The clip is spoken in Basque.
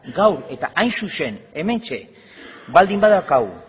gaur eta hain zuzen hementxe baldin badaukagu